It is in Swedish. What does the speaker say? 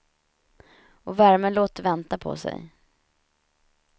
Och värmen låter vänta på sig.